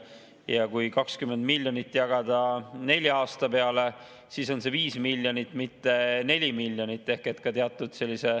Ja kui 20 miljonit jagada nelja aasta peale, siis on see 5 miljonit aastas, mitte 4 miljonit.